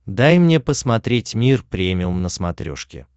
дай мне посмотреть мир премиум на смотрешке